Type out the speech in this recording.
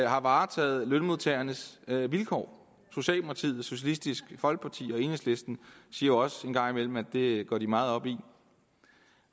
har varetaget lønmodtagernes vilkår socialdemokratiet socialistisk folkeparti og enhedslisten siger også en gang imellem at det går de meget op i